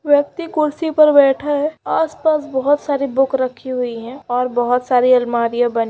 व्यक्ति कुर्सी पर बैठा है आस पास बहुत सारी बुक रखी हुई है और बहुत सारी आलमारियां बनी--